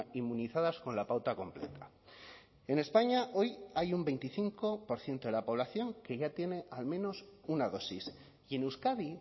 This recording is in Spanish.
inmunizadas con la pauta completa en españa hoy hay un veinticinco por ciento de la población que ya tiene al menos una dosis y en euskadi